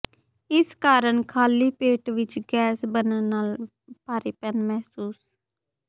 ਇਸ ਕਾਰਨ ਖਾਲੀ ਪੇਟ ਵਿਚ ਗੈਸ ਬਣਨ ਨਾਲ ਭਾਰੀਪਨ ਮਹਿਸੂਸ